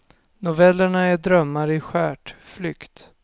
Novellerna är drömmar i skärt, flykt.